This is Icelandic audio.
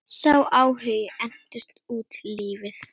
Sá áhugi entist út lífið.